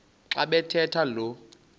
xa bathetha lo